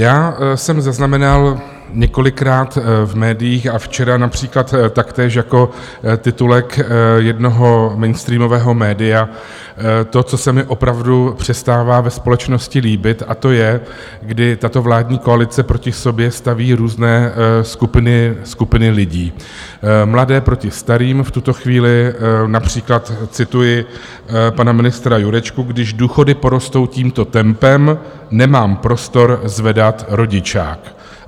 Já jsem zaznamenal několikrát v médiích - a včera například taktéž jako titulek jednoho mainstreamového média - to, co se mi opravdu přestává ve společnosti líbit, a to je, kdy tato vládní koalice proti sobě staví různé skupiny lidí, mladé proti starým, v tuto chvíli například cituji pana ministra Jurečku: Když důchody porostou tímto tempem, nemám prostor zvedat rodičák.